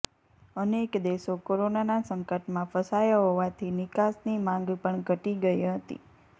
અનેક દેશો કોરોનાના સંકટમાં ફસાયા હોવાથી નિકાસની માંગ પણ ઘટી ગઈ હતી